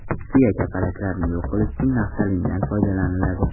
Kuya kapalaklarni yo‘q qilish uchun naftalindan foydalaniladi.